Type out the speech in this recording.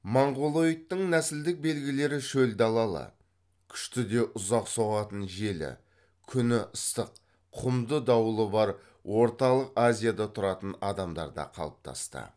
монғолоидтың нәсілдің белгілері шөл далалы күшті де ұзақ соғатын желі күні ыстық құмды дауылы бар орталық азияда тұратын адамдарда қалыптасты